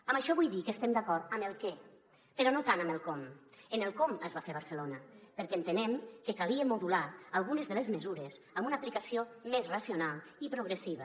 amb això vull dir que estem d’acord amb el què però no tant amb el com en el com es va fer a barcelona perquè entenem que calia modular algunes de les mesures amb una aplicació més racional i progressiva